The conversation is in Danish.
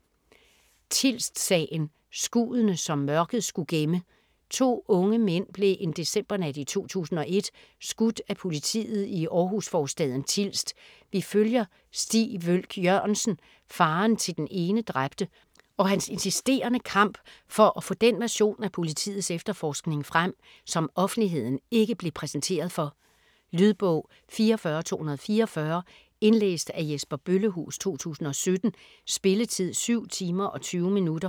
Tilst-sagen: skuddene, som mørket skulle gemme To unge mænd blev en decembernat i 2001 skudt af politiet i Århus-forstaden Tilst. Vi følger Stig Wølch Jørgensen, faderen til den ene dræbte, og hans insisterende kamp for at få den version af politiets efterforskning frem, som offentligheden ikke blev præsenteret for. Lydbog 44244 Indlæst af Jesper Bøllehuus, 2017. Spilletid: 7 timer, 20 minutter.